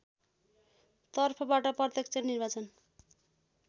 तर्फबाट प्रत्यक्ष निर्वाचन